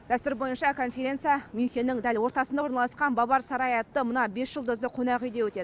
дәстүр бойынша конференция мюнхеннің дәл ортасында орналасқан бавар сарайы атты мына бес жұлдызды қонақүйде өтеді